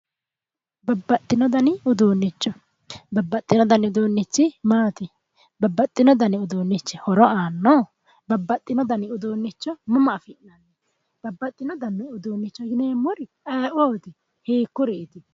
Babbaxxino dani uduunnicho babbaxxino dani uduunnichi maati babbaxxino dani uduunnichi horo aanno babbaxxino dani uduunnicho mama afi'nanni babbaxxino dani uduunnicho yineemmori aye'ooti hiikkuriiti